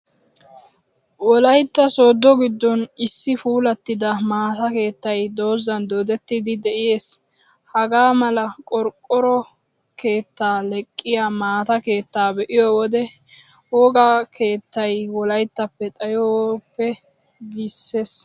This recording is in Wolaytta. Wolaytta sooddo giddon issi puulattida maata keettay dozan doodettidi de'ees. Hagaa mala qorqqoro keettaa leqqiyaa maata keettaa be'iyoo wode, wogaa keettay wolayttaappe xayoppo giissees.